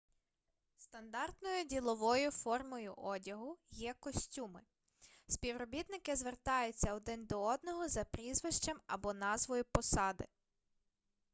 стандартною діловою формою одягу є костюми співробітники звертаються один до одного за прізвищем або назвою посади